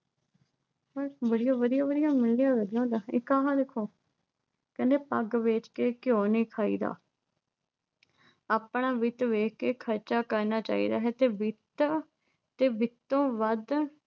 ਬੱਸ ਜਿਹੜੀਆਂ ਵਧੀਆ-ਵਧੀਆ ਹੁੰਦੀਆਂ ਇੱਕ ਆਹਾ ਵੇਖੋ। ਕਹਿੰਦੇ ਪੱਗ ਵੇਚ ਕੇ ਘਿਓ ਨੀ ਖਾਈਦਾ, ਆਪਣਾ ਵਿੱਤ ਵੇਖ ਕੇ ਖਰਚਾ ਕਰਨਾ ਚਾਹੀਦਾ ਹੈ। ਤੇ ਵਿੱਤ, ਤੇ ਵਿੱਤੋਂ ਵੱਧ